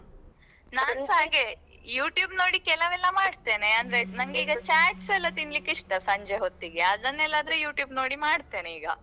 ನಾನ್ಸ ಹಾಗೆ YouTube ನೋಡಿ ಕೆಲವೆಲ್ಲಾ ಮಾಡ್ತೇನೆ ಅಂದ್ರೆ ನಂಗೆ ಈಗ chats ಎಲ್ಲಾ ತಿನ್ಲಿಕ್ಕೆ ಇಷ್ಟ ಸಂಜೆ ಹೊತ್ತಿಗೆ ಅದನೆಲ್ಲಾ ಆದ್ರೆ YouTube ನೋಡಿ ಮಾಡತೇನೆ ಈಗ.